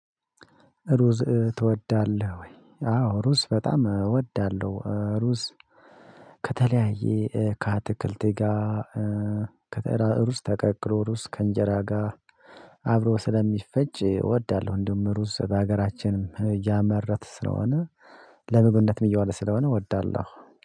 ሩዝ ትወዳለህ ወይ? አዎ ሩዝ በጣም እወዳለሁ። ሩዝ ከተለያየ ከአትክልት ጋር ከሩዝ ተቀቅሎ ሩዝ ከእንጀራ ጋር አብሮ ስለሚፈጭ እወዳለሁ። እንደውም ሩዝ በሀገራችንም እያመረትን ስለሆነ ለምግብነትም እየዋለ ስለሆነ እወዳለሁ።